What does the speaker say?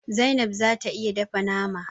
Zainab zata iya dafa mana.